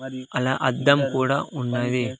అలా అద్దం కూడా ఉన్నది.